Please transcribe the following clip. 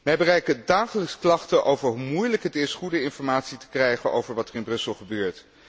Mij bereiken dagelijks klachten over hoe moeilijk het is goede informatie te krijgen over wat er in Brussel gebeurt.